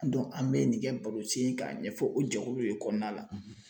an mɛ nin kɛ barosen ye k'a ɲɛfɔ o jɛkulu de kɔnɔna la.